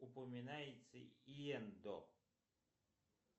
упоминается иендо